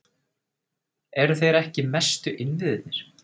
Eru þeir ekki mestu innviðirnir?